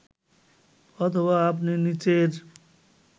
অথবা আপনি নিচের